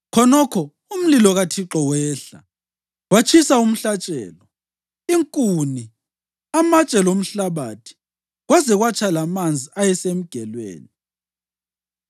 Khonokho umlilo kaThixo wehla watshisa umhlatshelo, inkuni, amatshe lomhlabathi, kwaze kwatsha lamanzi ayesemgelweni.